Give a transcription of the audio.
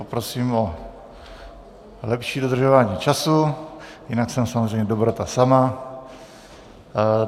Poprosím o lepší dodržování času, jinak jsem samozřejmě dobrota sama.